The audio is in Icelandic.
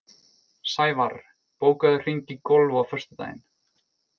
Sævarr, bókaðu hring í golf á föstudaginn.